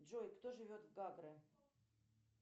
джой кто живет в гагры